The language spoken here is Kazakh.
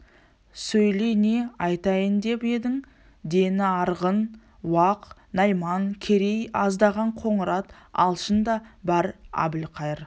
сөйле не айтайын деп едің дені арғын уақ найман керей аздаған қоңырат алшын да бар әбілқайыр